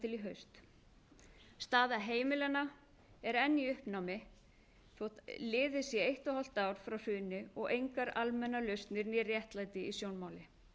til í haust staða heimilanna er enn í uppnámi þótt liðið sé eitt og hálft ár frá hruni og engar almennar lausnir né réttlæti í sjónmáli